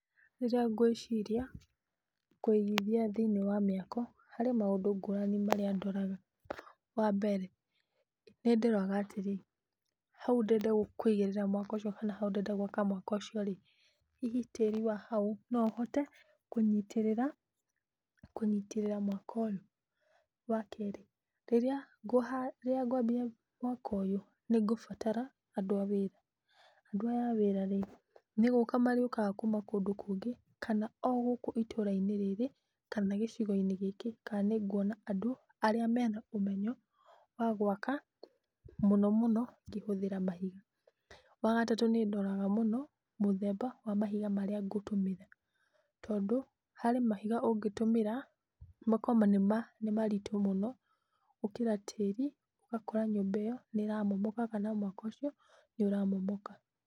Rirĩa ngwĩciria kũigithia thĩiniĩ wa mĩako harĩ maũndũ ngũrani marĩa ndoraga. Wa mbere nĩ ndoraga atĩrĩ hau ndĩrenda kũigĩrĩra mwako ũcio kana hau ndĩrenda gwaka mwako ũcio rĩ, hihi tĩri wa hau no ũhote kũnyitĩrĩra mwako ũyũ. Wa kerĩ rĩrĩa ngwambia mwako ũyũ nĩ ngũbatara andũ a wĩra, andũ aya a wĩra ĩ nĩ gũka marĩũkaga kuma kũndũ kũngĩ kana o gũku itũra-inĩ rĩrĩ kana gĩcagi-inĩ gĩkĩ kana nĩ nguona andũ arĩa mena ũmenyo wa gwaka mũno mũno ũkĩhũthĩra mahiga. Wa gatatũ nĩ ndoraga mũno mũthemba wa mahiga marĩa ngũtũmĩra. Tondũ harĩ mahiga ũngĩtũmĩra makorwo nĩ maritũ mũno gũkĩra tĩri ũgakora nyũmba ĩyo nĩ ĩra momoka kana mwako ũcio nĩ ũra momoka.